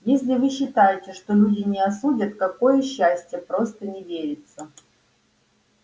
если вы считаете что люди не осудят какое счастье просто не верится